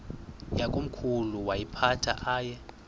yakomkhulu woyiphatha aye